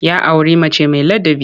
Ya auri mace mai ladabi.